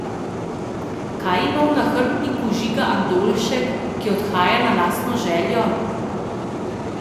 Kaj ima v nahrbtniku Žiga Andoljšek, ki odhaja na lastno željo?